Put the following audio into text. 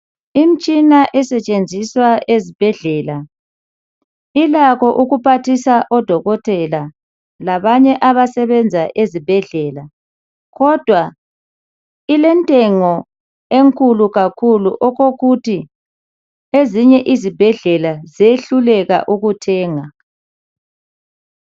Imitshina esetshenziswa ezibhedlela ilakho ukuphathisa odokotela ezibhedlela labanye abasebenza ezibhedlela kodwa ilentengo kakhulu okokuthi ezinye izibhedlela zehluleka ukuthenga .